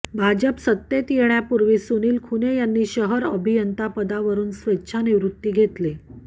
भाजप सत्तेत येण्यापूर्वीच सुनील खुने यांनी शहर अभियंता पदावरून स्वेच्छानिवृत्ती घेतली